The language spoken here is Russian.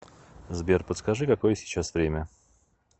сбер подскажи какое сейчас время